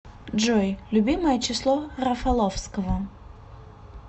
джой любимое число рафаловского